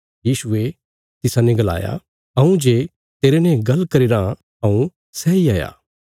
यीशुये तिसाने गलाया हऊँ जे तेरने गल्ल करी रां हऊँ सैई हाया